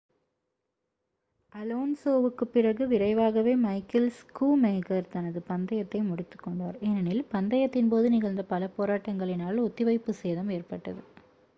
அலோன்சோவுக்குப் பிறகு விரைவாகவே Michael Schumacher தனது பந்தயத்தை முடித்துக்கொண்டார் ஏனெனில் பந்தயத்தின் போது நிகழ்ந்த பல போராட்டங்களினால் ஒத்திவைப்பு சேதம் ஏற்பட்டது